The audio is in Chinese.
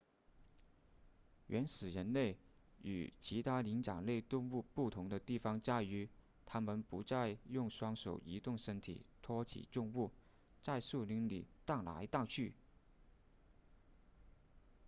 原始人类与其他灵长类动物不同的地方在于他们不再用双手移动身体托起重物在树林里荡来荡去